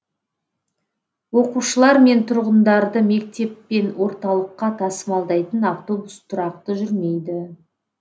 оқушылар мен тұрғындарды мектеп пен орталыққа тасымалдайтын автобус тұрақты жүрмейді